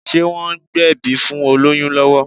Ṣé wọ́n ń gbẹ̀bí fún olóyún lọ́wọ́?